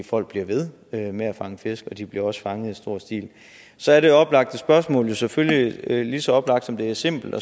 folk bliver ved ved med at fange fisk og de bliver også fanget i stor stil så er det oplagte spørgsmål jo selvfølgelig lige så oplagt som det er simpelt